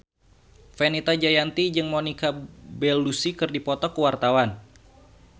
Fenita Jayanti jeung Monica Belluci keur dipoto ku wartawan